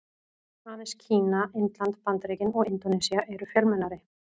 Aðeins Kína, Indland, Bandaríkin og Indónesía eru fjölmennari.